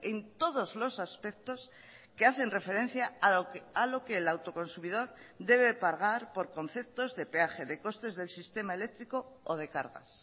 en todos los aspectos que hacen referencia a lo que el autoconsumidor debe pagar por conceptos de peaje de costes del sistema eléctrico o de cargas